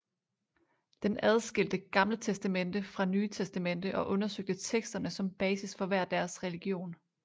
Den adskilte gt fra nt og undersøgte teksterne som basis for hver deres religion